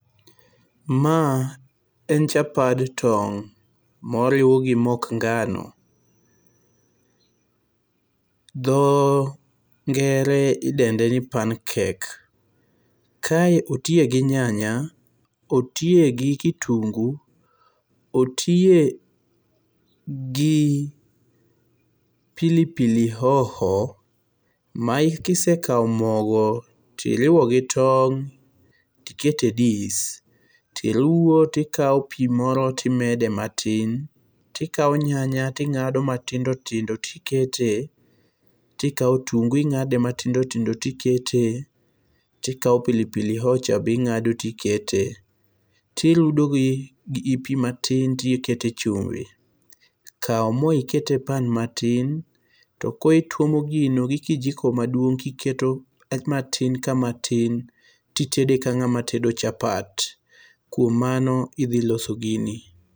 Ma en chapad tong' moriw gi mok ngano. Dho ngere idende ni pan cake. Kae otiye gi nyanya, otiye gi kitungu, otiye gi pilipili hoho. Mae kisekaw mogo to iriwo gi tong' tikete dis. Tiruwo tikaw pi moro timede matin. Tikawo nyanya ting'ado matindo tindo tikete. Tikaw otungu ing'ade matindo tindo tikete. Tikaw pilipili hoho cha be ing'ado tikete. Tirudo gi pi matin tikete chumbi. Kaw mo ikete pan matin to koro itwomo gino gi kijiko maduong' kiketo matin ka matin titede ka ng'ama tedo chapat. Kuom mano idhi loso gini.